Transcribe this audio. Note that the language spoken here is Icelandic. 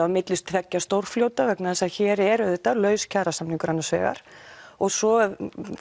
á milli tveggja stórfljóta vegna þess að hér er auðvitað laus kjarasamningur annars vegar og svo